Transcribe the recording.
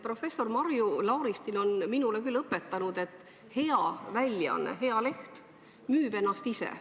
Professor Marju Lauristin on minule küll õpetanud, et hea väljaanne, hea leht müüb ennast ise.